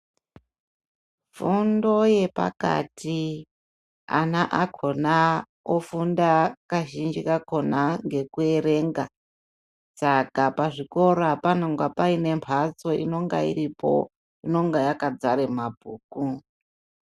Fundo yepakati ana akona ofunda kazhinji kakona ngekuerenga saka pazvikora panonga paine mhatso inongairipo inonga yakadzare mabhuku.